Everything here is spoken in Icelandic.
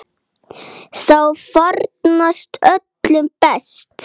Þá farnast öllum best.